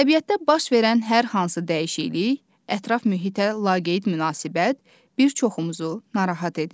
Təbiətdə baş verən hər hansı dəyişiklik, ətraf mühitə laqeyd münasibət bir çoxumuzu narahat edir.